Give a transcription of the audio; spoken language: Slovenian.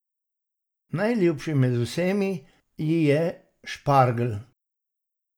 Najljubši med vsemi ji je špargelj!